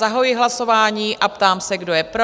Zahajuji hlasování a ptám se, kdo je pro?